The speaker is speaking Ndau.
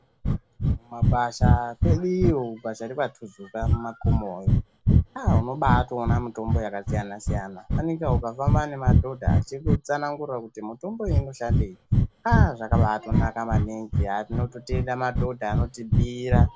Ku mabasa kweduyo basa rekwa tuzuka mu makomo yoo aa unobai toona mutombo yaka siyana siyana fanika uka famba ne madhodha achi kutsanangura Kuti mitombo iyo ino shandei aa zvakabaito naka maningi aaa tinoto tenda madhodha anoti bhiira.